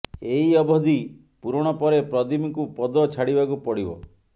ଏହି ଅବଧି ପୂରଣ ପରେ ପ୍ରଦୀପଙ୍କୁ ପଦ ଛାଡ଼ିବାକୁ ପଡ଼ିବ